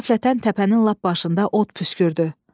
Qəflətən təpənin lap başında od püskürdü.